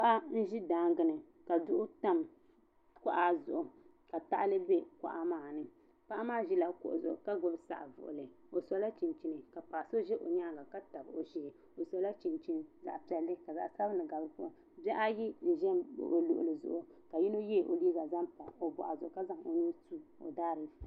Paɣa n ʒɛ daangi ni ka duɣu tam koɣa zuɣu ka paɣili be kuɣa maani. Paɣi maa ʒɛ la kuɣu zuɣu ka gbubi saɣ' vuɣili. O sola chinchini ka paɣ' so ʒɛ o nyaaŋa ka tabi o shee. O sola chinchini zaɣ' pielli ka zaɣ' abinli gabi di puuni. Bihi ayi n ʒɛ n baɣ o luɣili zuɣu ka yino yeegi o liiga n zaŋ pa o boɣ zuɣu ka zaŋ o nuu n su o daa diiku ni